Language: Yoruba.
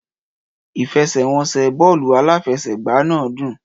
Ìfẹsẹ̀wọnsẹ̀ bọ́ọ̀lù aláfẹsẹ̀gbá náà dùn.